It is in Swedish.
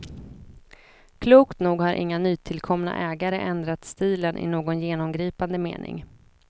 Klokt nog har inga nytillkomna ägare ändrat stilen i någon genomgripande mening.